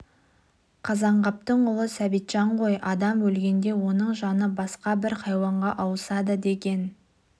қазанғаптың ұлы сәбитжан ғой адам өлгенде оның жаны басқа бір хайуанға ауысады деген